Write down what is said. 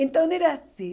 Então era assim.